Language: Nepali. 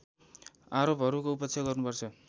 आरोपहरूको उपेक्षा गर्नुपर्छ